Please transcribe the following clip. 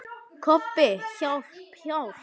Kobbi, hjálp, hjálp.